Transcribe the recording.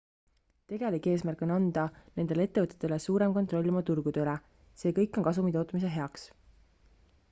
tegelik eesmärk on anda nendele ettevõtetele suurem kontroll oma turgude üle see kõik on kasumi tootmise heaks